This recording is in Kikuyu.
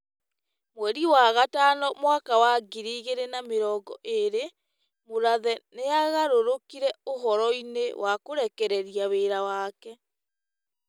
Mweri wa gatano mwaka wa ngiri igĩrĩ na mĩrongo erĩ, Mũrathe nĩ agarũrũkire ũhoroinĩ wa kũrekereria wĩra wake.